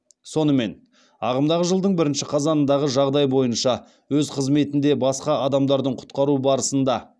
сонымен ағымдағы жылдың бірінші қазанындағы жағдай бойынша өз қызметінде басқа адамдардың құтқару барысында